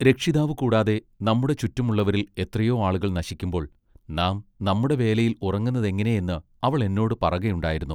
രക്ഷിതാവ് കൂടാതെ നമ്മുടെ ചുറ്റും ഉള്ളവരിൽ എത്രയൊ ആളുകൾ നശിക്കുമ്പോൾ നാം നമ്മുടെ വേലയിൽ ഉറങ്ങുന്നതെങ്ങിനെ എന്ന് അവൾ എന്നോട് പറകയുണ്ടായിരുന്നു.